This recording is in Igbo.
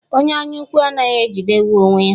Onye anya ukwu anaghị ejidewu onwe ya.